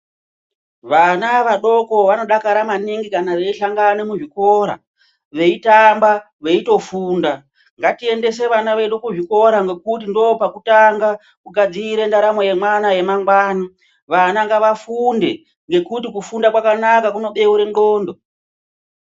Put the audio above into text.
Vana vadoko vanodakara maningi kana veihlangane muzvikora veitamba veitofunda. Ngatiendese vana vedu kuzvikora ngekuti ndopakutanga kugadzire ndaramo yemwana yemangwana. Vana ngavafunde ngekuti kufunda kwakanaka kunobeure ndxndo.